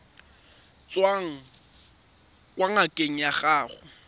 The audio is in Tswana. tswang kwa ngakeng ya gago